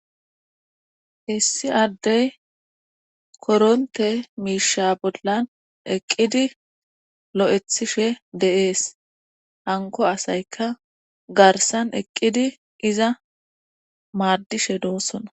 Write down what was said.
Issii Adey koronte miisha bollan eqidi loythishe de'es hanko asayka garsan eqidi iza madishe de'osona